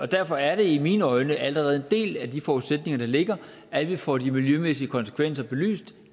derfor er det i mine øjne allerede en del af de forudsætninger der ligger at vi får de miljømæssige konsekvenser belyst